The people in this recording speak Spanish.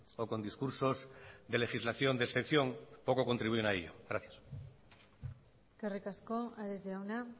o con discursos de legislación de excepción poco contribuyen a ello gracias eskerrik asko ares jauna